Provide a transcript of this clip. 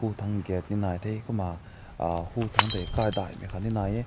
tang gate ne nai teh kumma uh ütang te khai dai mai ne nai yeh.